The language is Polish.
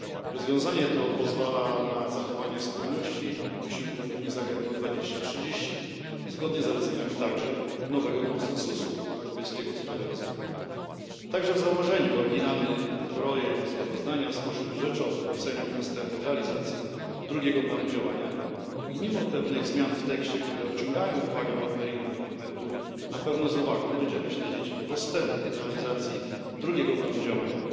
Rozwiązanie to pozwala na zachowanie spójności wysiłków Unii z Agendą 2030, także zgodnie z zaleceniami nowego Konsensusu europejskiego w sprawie rozwoju. Także w założeniu oryginalny projekt sprawozdania w sposób rzeczowy ocenił postępy realizacji drugiego planu działania i mimo pewnych zmian w tekście, które odciągają uwagę od meritum dokumentu, na pewno z uwagą będziemy śledzić postępy w realizacji drugiego planu działania.